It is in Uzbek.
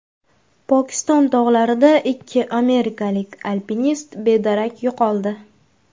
Pokiston tog‘larida ikki amerikalik alpinist bedarak yo‘qoldi.